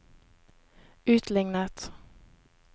utlignet